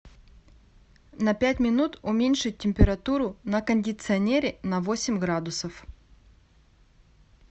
на пять минут уменьшить температуру на кондиционере на восемь градусов